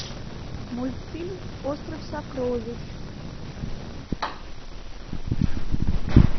мультфильм остров сокровищ